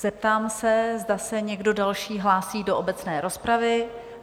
Zeptám se, zda se někdo další hlásí do obecné rozpravy?